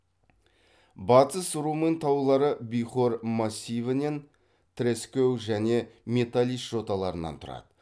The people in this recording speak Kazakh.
батыс румын таулары бихор массивінен траскэу және металич жоталарынан тұрады